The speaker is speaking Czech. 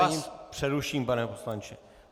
Já vás přeruším, pane poslanče.